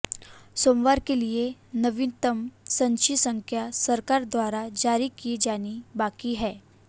सोमवार के लिए नवीनतम संचयी संख्या सरकार द्वारा जारी की जानी बाकी है